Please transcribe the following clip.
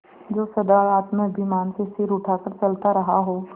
जो सदा आत्माभिमान से सिर उठा कर चलता रहा हो